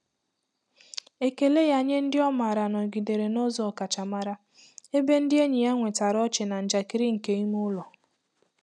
Ekele ya nye ndị ọ maara nọgidere n'ụzọ ọkachamara, ebe ndị enyi nwetara ọchị na njakịrị nke ime ụlọ.